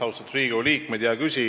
Austatud Riigikogu liikmed!